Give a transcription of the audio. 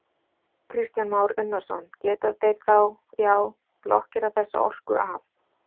Kristján Már Unnarsson: Geta þeir þá, já, blokkerað þessa orku af?